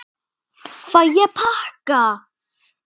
Fæ ég pakka?